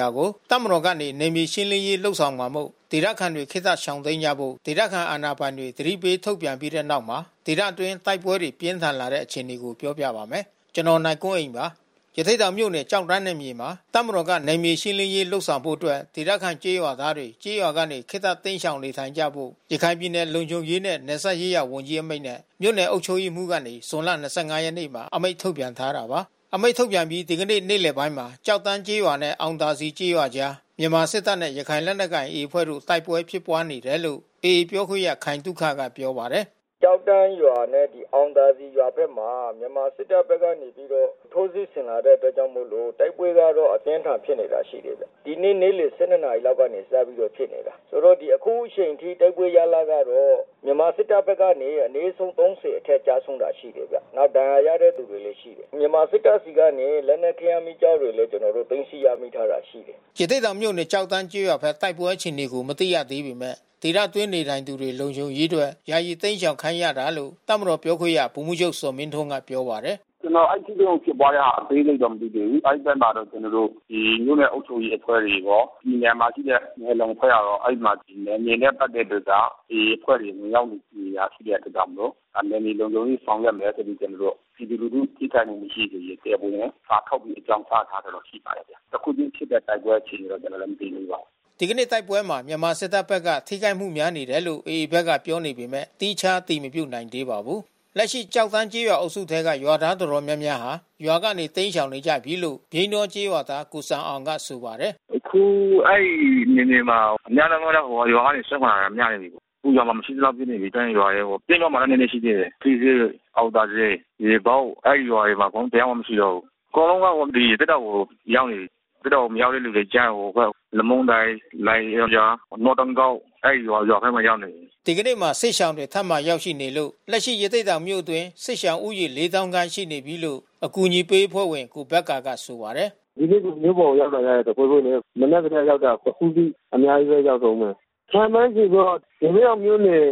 ရွာကို တပ်မတော်ကနေ နယ်မြေရှင်းလင်းရေးလုပ်ဆောင်မှာမို့လို့ ဒေသခံတွေ ခေတ္တတိမ်းရှောင်ကြဖို့ ဒေသခံအာဏာပိုင်တွေ သတိပေးထုတ်ပြန်လိုက်တဲ့နောက် ဒေသအတွင်း တိုက်ပွဲတွေ ပြင်းထန်လာတဲ့ အခြေအနေကို ပြောပြပါမယ်။ ဗွီအိုအေမြန်မာပိုင်းသတင်းထောက် ကိုနိုင်ကွန်းအိန်က သတင်းပေးပို့ထားပါတယ်။ ရသေ့တောင်မြို့နယ် ကျောက်တန်းနယ်မြေမှာ တပ်မတော်က နယ်မြေရှင်းလင်းရေး လုပ်ဆောင်ဖို့အတွက် ဒေသခံ ကျေးရွာသားတွေ ကျေးရွာကနေ ခေတ္တရှောင်တိမ်းနေထိုင်ကြဖို့ ရခိုင်ပြည်နယ်လုံခြုံရေးနဲ့ နယ်စပ်ရေးရာဝန်ကြီးအမိန့်နဲ့ မြို့နယ်အုပ်ချုပ်ရေးမှူးကနေ ဇွန်လ၂၅ ရက်နေ့မှာ အမိန့်ထုတ်ပြန်ထားတာပါ။ အမိန့်ထုတ်ပြန်ပြီး ဒီကနေ့နေ့လယ်ပိုင်းမှာ ကျောက်တန်းကျေးရွာနဲ့ အောင်သာစည်ကျေးရွာအကြားမှာ မြန်မာစစ်တပ်နဲ့ ရခိုင်လက်နက်ကိုင် AA အဖွဲ့တို့ တိုက်ပွဲဖြစ်ပွါးနေတယ်လို့ AA ပြောခွင့်ရ ခိုင်သုခက ပြောပါတယ်။ “ကျောက်တန်းရွာနဲ့ အောင်သာစည်ရွာဘက်မှာ မြန်မာစစ်တပ်ဘက်က ထိုးစစ်ဆင်လာတဲ့အတွက်ကြောင့်မို့လို့ တိုက်ပွဲကတော့ အပြင်းအထန်ဖြစ်နေတာ ရှိတယ်ဗျ။ ဒီနေ့နေ့လယ် ၁၂ လောက်ကနေ စပြီးတော့ဖြစ်နေတာ။ ဆိုတော့ အခုအချိန်ထိ တိုက်ပွဲရလဒ်ကတော့ မြန်မာစစ်တပ်ဘက်ကအနဲ့ ဆုံး ၃၀ အထက်ကျဆုံးတာ ရှိတယ်ဗျ။ နောက်ဒဏ်ရာရတဲ့ သူလည်း ရှိတယ်။ မြန်မာစစ်တပ်ဆီကနေ လက်နက်ခဲယမ်း မီးကျောက်တွေလည်း ကျနော်တို့ သိမ်းဆည်းရထားတာ ရှိတယ်။” ရသေ့တောင်မြို့နယ် ကျောက်တန်းကျေးရွာဘက် တိုက်ပွဲအခြေအနေကို မသိရသေးပေမဲ့ ဒေသအတွင်းနေထိုင်သူတွေ လုံခြုံရေးအတွက် ယာယီတိမ်းရှောင်ခိုင်းရတာလို့ တပ်မတော်ပြောခွင့်ရ ဗိုလ်မှူးချုပ်ဇော်မင်းထွန်းက ပြောပါတယ်။ “ကျနော် အဲဒီထိတွေ့မှု ဖြစ်ပွားတဲ့ဟာ အသေးစိတ် မသိသေးဘူး။ အဲဒီဘက်မှာတော့ ကျနော်တို့ မြို့နယ်အုပ်ချုပ်ရေးအဖွဲ့တွေရော၊ ပြည်နယ်မှာ ရှိတဲ့နယ်လုံအဖွဲ့ကရော အဲဒီမှာနယ်မြေနဲ့ ပတ်သက်ပြီးတော့က AA အဖွဲ့တွေ ဝင်ရောက်နေရာယူတဲ့အတွက်ကြောင့်မို့လို့ နယ်မြေလုံခြုံရေးဆောင်ရွက်မယ်ဆိုပြီး ကျနော်တို့ ပြည်သူလူထု ထိခိုက်မှု မရှိစေရေး တရားဝင်စာထုတ်ပြီးတော့ အကြောင်းကြားထားတာ ရှိပါတယ်။ အခုချင်းဖြစ်တဲ့ တိုက်ပွဲအခြေအနေ ကျနော်လည်း မသိသေးပါဘူး။” ဒီနေ့တိုက်ပွဲမှာ မြန်မာစစ်တပ်ဘက်က ထိခိုက်မှုများတယ်လို့ AA ဘက်ကပြောနေပေမဲ့ သီးခြား အတည်မပြုနိုင်သေးပါဘူး။ လက်ရှိကျောက်တန်းကျေးရွာအုပ်စုထဲက ရွာသားတော်တော်များများဟာ ရွာကနေ တိမ်းရှောင်နေကြပြီလို့ ပြိန်းတောကျေးရွာသား ကိုစံအောင်က ဆိုပါတယ်။ “အခုအဲဒီနယ်မြေမှာ များသောအားဖြင့် ရွာက စွန့်ခွာတာ များနေပြီး။ ရွာမှာ မရှိသလောက်ဖြစ်နေပြီး ကျောက်တန်းရွာထဲကို။ ပြိန်းတောမှာတော့ နည်းနည်း ရှိသေးတယ်။ ထီးစွဲ၊ အောင်သာစည်၊ ရေပုတ် အဲဒီရွာတွေမှာ အကုန်လုံး တယောက်မှ မရှိတော့ဘူး။ အကုန်လုံးက ဒီရသေ့တောင်ကို ရောက်နေပြီး။ ရသေ့တောင် မရောက်တဲ့သူတွေကျ ဟိုဘက် လမုန်းတိုင်၊ လိုင်ဂွင်ရွာ၊ နွားတင်းကုတ် အဲဒီရွာထဲ ရောက်နေတယ်။” ဒီနေ့မှာ စစ်ရှောင်တွေ ထပ်မံရောက်ရှိနေလို့ လက်ရှိ ရသေ့တောင်မြို့အတွင်း စစ်ရှောင်ဦးရေ ၄၀,၀၀၀ ခန့်ရှိနေပြီလို့ အကူညီပေးအဖွဲ့ဝင်ကိုဘက္ကာကဆိုပါတယ်။ “ဒီနေ့မြို့ပေါ်ကို ရောက်လာတာတဖွဲဖွဲပဲ။ မနက်ကတည်းကရောက်တာ အခုထိ အများကြီးပဲ ရောက်တုန်းပဲ။ ခန့်မှန်းခြေတော့ ရသေ့တောင်မြို့နယ်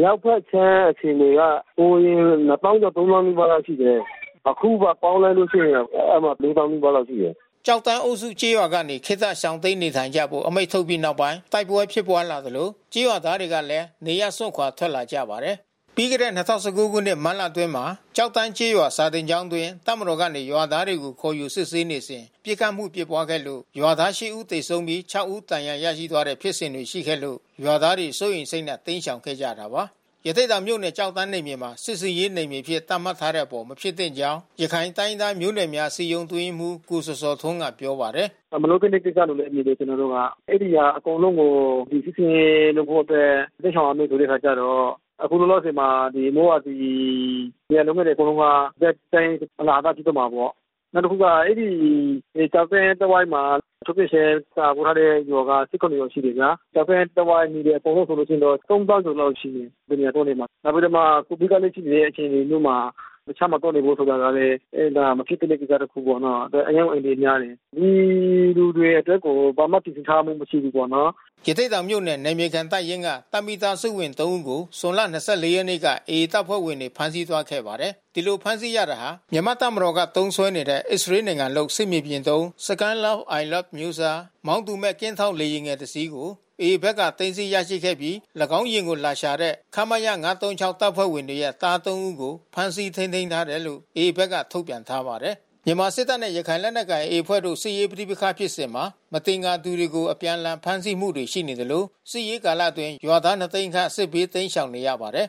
မြောက်ဘက်ခြမ်း အခြေအနေက ဟိုအရင် ၂၀,၀၀၀ ကျော်၊ ၃၀,၀၀၀ နီးပါးလောက် ရှိတယ်။ အခုပါ ပေါင်းလိုက်လို့ ရှိရင် အဲဒီမှာ ၄၀,၀၀၀ နီးပါးလောက်ရှိတယ်။” ကျောက်တန်းအုပ်စုကျေးရွာကနေ ခေတ္တရှောင်တိမ်းနေထိုင်ကြဖို့ အမိန့်ထုတ်ပြီးနောက်ပိုင်း တိုက်ပွဲဖြစ်ပွါးလာသလို ကျေးရွာသားတွေလည်း နေရပ်စွန့်ခွာထွက်လာကြပါတယ်။ ပြီးခဲ့တဲ့ ၂၀၁၉ ခုနှစ် မတ်လအတွင်းမှာ ကျောက်တန်းကျေးရွာ စာသင်ကျောင်းအတွင်း တပ်မတော်က ရွာသားတွေကို ခေါ်ယူစစ်ဆေးနေစဉ် ပစ်ခတ်မှုဖြစ်ပွားခဲ့လို့ ရွာသား ရှစ် ဦးသေဆုံးပြီး ခြောက် ဦး ဒဏ်ရာရရှိသွားခဲ့တဲ့ဖြစ်စဉ်တွေရှိခဲ့လို့ ရွာသားတွေ စိုးရိမ်စိတ်နဲ့ တိမ်းရှောင်ခဲ့ကြတာပါ။ ရသေ့တောင်မြို့နယ် ကျောက်တန်းနယ်မြေမှာ စစ်ဆင်ရေးနယ်မြေအဖြစ် သတ်မှတ်ထားတဲ့အပေါ် မဖြစ်သင့်ကြောင်း ရခိုင်တိုင်းရင်းသားမျိုးနွယ်များ အစည်းအရုံးအတွင်းရေးမှူး ကိုဇော်ဇော်ထွန်းကပြောပါတယ်။ “မလုပ်သင့်တဲ့ကိစ္စလို့ဘဲမြင်တယ် ကျနော်တို့က။ အဲဒီရွာအကုန်လုံးကို စစ်ဆင်ရေးလုပ်ဖို့အတွက် တိမ်းရှောင်ရမယ် ဆိုတဲ့အခါကျတော့ အခုလောလောဆယ်မှာ မိုးရာသီ လယ်ယာလုပ်ငန်းတွေအကုန်လုံးက ရပ်တန့်အလဟသဖြစ်သွားမှာပေါ့။ နောက်တခုက အဲဒီကျောက်တန်းတဝိုက်မှာ ထုတ်ပြန်ချက်ထုတ်ထားတဲ့ရွာ ၁၇ ရွာရှိတယ်ဗျာ။ ကျောက်တန်း တဝိုက်လူတွေအကုန်လုံးဆိုလို့ရှိရင် ၃၀,၀၀၀ ကျော်လောက်ရှိမယ်။ ဘယ်နေရာသွားနေမှာလဲ။ နောက်ပြီးတော့မှ COVID ကပ်လည်း ရှိနေတဲ့အခြေအနေမျိုးမှာ တခြားမှာသွားနေဖို့ဆိုတာကလည်း မဖြစ်သင့်တဲ့ကိစ္စတခုပေါ့နော်။ အရမ်းကို အန္တရာယ်များတယ်။ ဒီလူတွေအတွက်ကို ဘာမှပြင်ဆင်ထားမှု မရှိဘူးပေါ့နော်။” ရသေ့တောင်မြို့နယ်၊ နယ်မြေခံတပ်ရင်းက တပ်မိသားစုဝင် ၃ ဦးကို ဇွန်လ ၂၄ ရက်က AA တပ်ဖွဲ့ဝင်တွေ ဖမ်းဆီးသွားခဲ့ပါတယ်။ ဒီလိုဖမ်းဆီးရတာဟာ မြန်မာ့တပ်မတော်က သုံးစွဲနေတဲ့အစ္စရေးနိုင်ငံလုပ် စစ်မြေပြင်သုံး Skylark I-LEX အမျိုးအစား မောင်းသူမဲ့ကင်းထောက်လေယာဉ်ငယ် တစ်စင်းကို AA ဘက်က သိမ်းဆည်း ရရှိခဲ့ပြီး ၎င်းယာဉ်ကို လာရှာတဲ့ ခမရ တပ်ဖွဲ့ဝင်တွေရဲ့သား သုံး ဦးကို ဖမ်းဆီး ထိန်းသိမ်းထားတယ်လို့ AA ဘက်က ထုတ်ပြန်ထားပါတယ်။ မြန်မာစစ်တပ်နဲ့ ရခိုင်လက်နက်ကိုင် AA အဖွဲ့တို့ စစ်ရေးပဋိပက္ခဖြစ်စဉ်မှာ မသင်္ကာသူတွေကို အပြန်အလှန်ဖမ်းဆီးမှုတွေရှိသလို စစ်ရေးကာလအတွင်း ရွာသား ၂၀၀,၀၀၀ ခန့် စစ်ဘေးတိမ်းရှောင်နေရပါတယ်